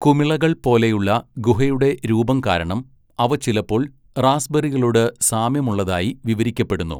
കുമിളകൾ പോലെയുള്ള ഗുഹയുടെ രൂപം കാരണം, അവ ചിലപ്പോൾ റാസ്ബെറികളോട് സാമ്യമുള്ളതായി വിവരിക്കപ്പെടുന്നു.